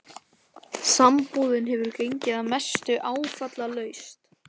Sambúðin hefur gengið að mestu áfallalaust.